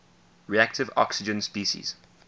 reactive oxygen species